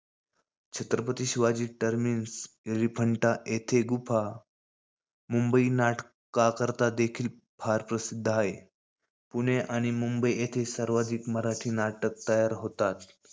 Chhatrapati Shivaji terminus, Elephanta येथील गुफा. मुंबई नाटकांकरता देखील फार प्रसिध्द हाये. पुणे आणि मुंबई येथे सर्वाधीक मराठी नाटक तयार होतात.